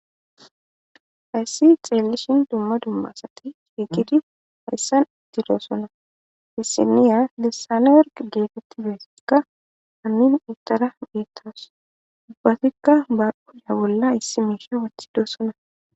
hayssi xeelli shin dumma dummasati fhigidi hayssan itti doosona dissiniya lissane werg geetitti beessikka anin itara beettas dubbatikka bakuda bolla issi miisha wathidoosona